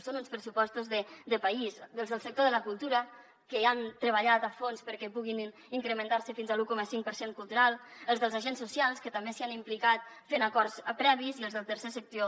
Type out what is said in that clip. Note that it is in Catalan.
són uns pressupostos de país els del sector de la cultura que han treballat a fons perquè puguin incrementar se fins a l’un coma cinc per cent cultural els dels agents socials que també s’hi han implicat fent acords previs i els del tercer sector